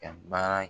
Ka baara